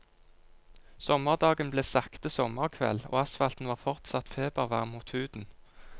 Sommerdagen ble sakte sommerkveld, og asfalten var fortsatt febervarm mot huden.